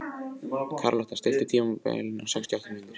Karlotta, stilltu tímamælinn á sextíu og átta mínútur.